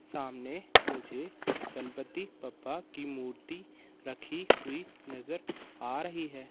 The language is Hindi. सामने मुझे गणपति बप्पा की मूर्ति रखी हुई नजर आ रही है।